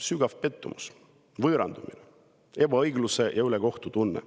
Sügav pettumus, võõrandumine, ebaõiglus‑ ja ülekohtutunne.